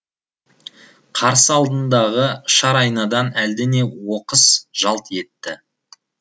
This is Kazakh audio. қарсы алдындағы шар айнадан әлдене оқыс жалт етті